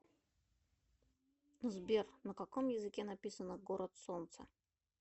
сбер на каком языке написано город солнца